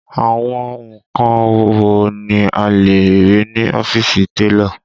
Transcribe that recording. Àwọn nǹkan wo ni a lè rí ní ọ́fíìsì télọ̀?